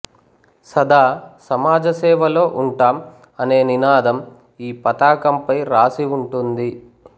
సదా సమాజసేవలో ఉంటాం అనే నినాదం ఈ పతాకం పై రాసి ఉంటుంది